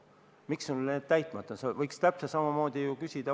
Miks on need täitmata, võiks täpselt samamoodi ju vastu küsida.